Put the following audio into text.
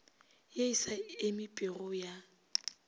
ye e sa emipego ya